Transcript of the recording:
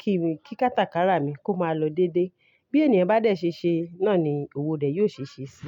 kí ń kí kátàkárà mi kó máa lọ dédé. Bí ènìyàn bá dẹ̀ ṣe ṣe, náà ni òwò rẹ̀ yó ṣeṣẹ́ sí.